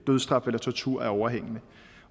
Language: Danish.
dødsstraf eller tortur er overhængende